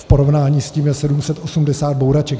V porovnání s tím je 780 bouraček.